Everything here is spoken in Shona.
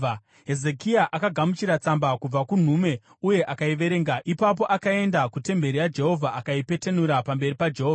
Hezekia akagamuchira tsamba kubva kunhume uye akaiverenga. Ipapo akaenda kutemberi yaJehovha akaipetenura pamberi paJehovha.